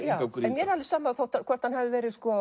mér er alveg sama hvort hann hefur